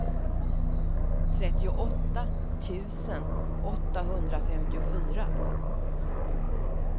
trettioåtta tusen åttahundrafemtiofyra